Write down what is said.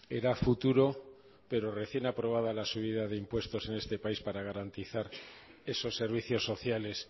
era a futuro pero recién aprobada la subida de impuestos en este país para garantizar esos servicios sociales